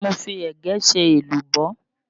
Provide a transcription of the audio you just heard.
Mo fi ẹ̀gẹ́ ṣe èlùbọ́